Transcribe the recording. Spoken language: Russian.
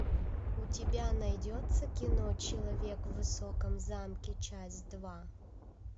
у тебя найдется кино человек в высоком замке часть два